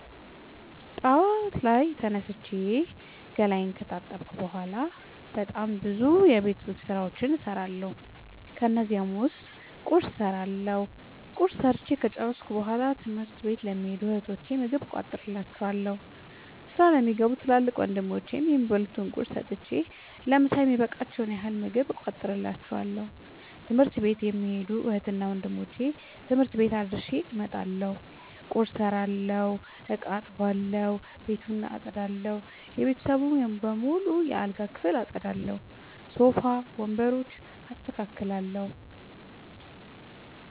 ጠዋት ላይ ተነስቼ ገላየን ከታጠብኩ በሗላ በጣም ብዙ የቤት ዉስጥ ስራዎችን እሠራለሁ። ከነዚህም ዉስጥ ቁርስ እሠራለሁ። ቁርስ ሠርቸ ከጨረሥኩ በሗላ ትምህርት ለሚኸዱ እህቶቸ ምግብ እቋጥርላቸዋለሁ። ስራ ለሚገቡ ትልቅ ወንድሞቼም የሚበሉት ቁርስ ሰጥቸ ለምሣ የሚበቃቸዉን ያህል ምግብ እቋጥርላቸዋለሁ። ትምህርት ቤት የሚኸዱትን እህትና ወንድሞቼ ትምህርት ቤት አድርሼ እመጣለሁ። ቁርስ የሰራሁበትን እቃ አጥባለሁ። ቤቱን አጠዳለሁ። የቤተሰቡን በሙሉ የአልጋ ክፍል አጠዳለሁ። ሶፋ ወንበሮችን አስተካክላለሁ።